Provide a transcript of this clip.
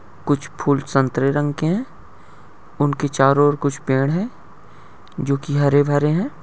कुछ फूल संतरे रंग के है। उनके चारों कुछ ओर पेड़ हैं जोकि हरे भरे है।